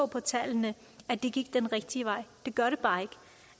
på tallene at det gik den rigtige vej det gør det bare ikke